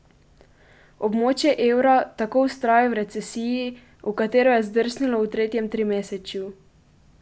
Območje evra tako vztraja v recesiji, v katero je zdrsnilo v tretjem trimesečju.